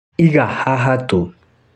Iga haha tu